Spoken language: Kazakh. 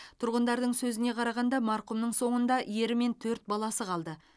тұрғындардың сөзіне қарағанда марқұмның соңында ері мен төрт баласы қалды